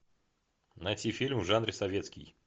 найти фильм в жанре советский